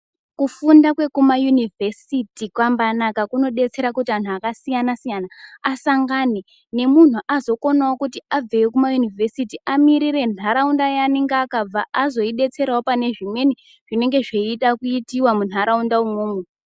Kufunda kwekumayunivhesiti kwanmanaka kunobetsera kuti anhu akasiyana-siyana asangane nemunhu azogonawo kuti abveyo kumayunivhesiti amiririre ntaraunda yaanenge akabva azoibetserawo pane zvimweni zvinenge zvichida kuitiwa muntaraunda umwomo.